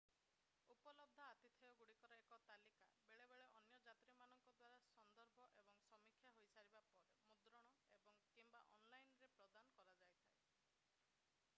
ଉପଲବ୍ଧ ଆତିଥେୟଗୁଡିକର ଏକ ତାଲିକା ବେଳେବେଳେ ଅନ୍ୟ ଯାତ୍ରୀମାନଙ୍କ ଦ୍ଵାରା ସନ୍ଦର୍ଭ ଏବଂ ସମୀକ୍ଷା ହୋଇସାରିବା ପରେ ମୁଦ୍ରଣ ଏବଂ / କିମ୍ବା ଅନଲାଇନ୍ ରେ ପ୍ରଦାନ କରାଯାଇଥାଏ